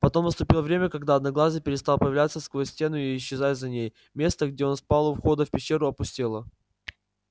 потом наступило время когда одноглазый перестал появляться сквозь стену и исчезать за ней место где он спал у входа в пещеру опустело